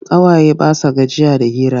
Ƙawaye ba sa gajiya da hira.